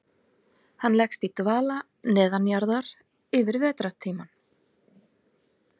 Hann leggst í dvala neðanjarðar yfir vetrartímann.